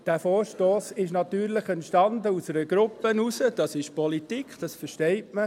Dieser Vorstoss entstand aus einer Gruppe heraus – das ist Politik, das versteht man.